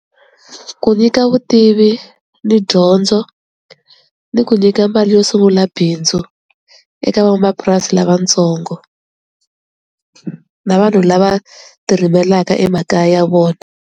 Ku nyika vutivi ni dyondzo ni ku nyika mali yo sungula bindzu eka van'wamapurasi lavatsongo na vanhu lava ti rimelaka emakaya ya vona.